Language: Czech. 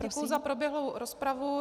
Děkuji za proběhlou rozpravu.